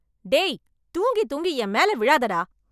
டேய்... தூங்கி தூங்கி, எம்மேல மேல விழாதடா...